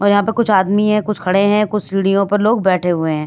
और यहाँ पर कुछ आदमी हैं कुछ खड़े हैं कुछ सीढ़ियों पर लोग बैठे हुए हैं ।